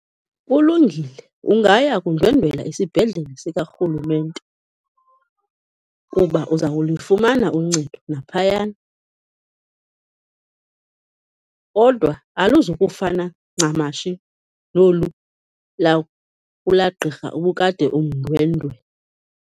Kulungile, ungaya kundwendwela isibhedlele sikarhulumente kuba uza kulufumana uncedo naphayana kodwa aluzukufana ncamashi nolu kulaa gqirha obukade umndwendwela.